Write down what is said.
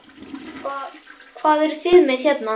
Hvað, hvað eruð þið með hérna?